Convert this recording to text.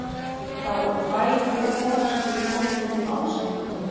Ég hef heyrt að oní bæ búi kona sem getur komið til þín orðsendingu.